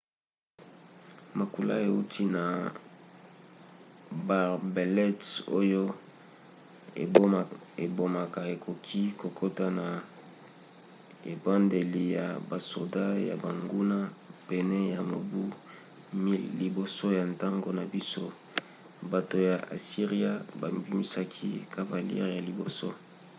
makula euti na baarbalètes oyo ebomaka ekoki kokota na ebundeli ya basoda ya banguna. pene ya mobu 1000 liboso ya ntango na biso bato ya asiria babimisaki cavalerie ya liboso